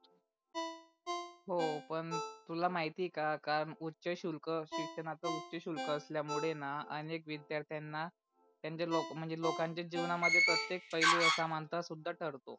हो पण तुला महिती आहे का का उच्चशुल्क शिक्षणाचा उच्चशुल्क असल्या मूळे णा अनेक विद्यार्थ्यांना त्यांच्या लोकांच्या म्हणजे लोकांच्या जीवनात मध्ये प्रतेक पेलू असमानता सुद्धा ठरतो.